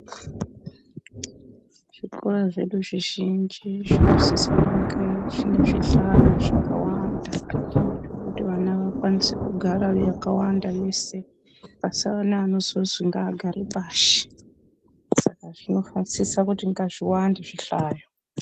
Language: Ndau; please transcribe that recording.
Zvikora zvedu zvizhinji zvino sise kunge zvine zvihlayo zvakawanda zvekuti vana vakwanise kugara vakawanda vese pasawane anosonzi ngaagare pashi, zvinosise kuti ngazviwande zvihlayo.